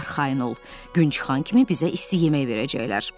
Arxayın ol, Qunçxan kimi bizə isti yemək verəcəklər.